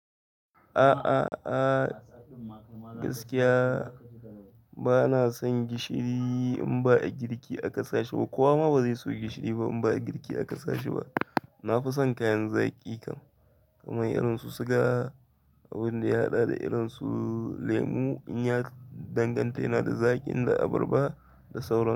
Aah, aah, aah gaskiya ba na son gishiri in ba a girki a kasa shi ba. Kowa ma bazai so gishiri ba in ba agirki aka sa shi ba na fi son kayan zaƙi kam kamar irin su siga, abin da ya haɗa da irin su lemu in ya danganta yana da zaƙi inda abarba da sauran.